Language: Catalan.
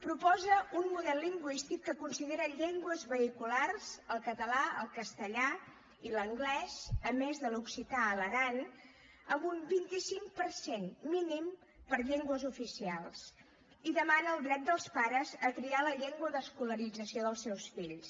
proposa un model lingüístic que considera llengües vehiculars el català el castellà i l’anglès a més de l’occità a l’aran amb un vint cinc per cent mínim per llengües oficials i demana el dret dels pares a triar la llengua d’escolarització dels seus fills